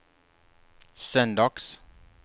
söndags